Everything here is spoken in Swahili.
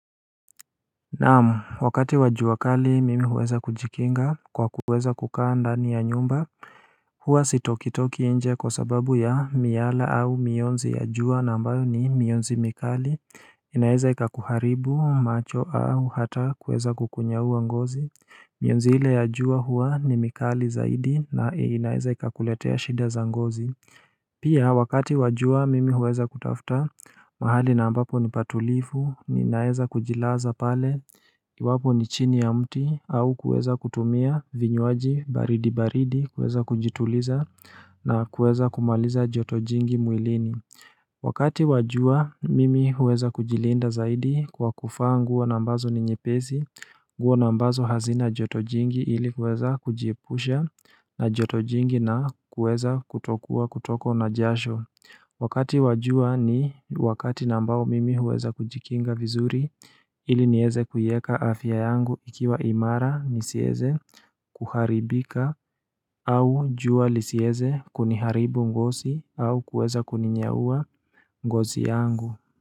Naam, wakati wa jua kali mimi huweza kujikinga kwa kuweza kukaa ndani ya nyumba Huwa sitokitoki nje kwa sababu ya miyala au mionzi ya jua na ambayo ni mionzi mikali inaeza ikakuharibu macho au hata kuweza kukunyaua ngozi mionzi ile ya jua huwa ni mikali zaidi na inaeza ikakuletea shida za ngozi Pia wakati wa jua mimi huweza kutafuta mahali na ambapo ni patulifu ni naeza kujilaza pale Iwapo ni chini ya mti au kueza kutumia vinywaji baridi baridi kueza kujituliza na kueza kumaliza joto jingi mwilini Wakati wajua mimi huweza kujilinda zaidi kwa kuvaa nguo na ambazo ni nyepesi nguo na ambazo hazina joto jingi ili kueza kujiepusha na joto jingi na kueza kutokua kutokwa na jasho Wakati wa jua ni wakati na ambao mimi huweza kujikinga vizuri ili nieze kuieka afya yangu ikiwa imara nisieze kuharibika au jua lisieze kuniharibu ngosi au kueza kuninyaua ngosi yangu.